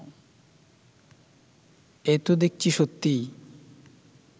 এ তো দেখছি সত্যিই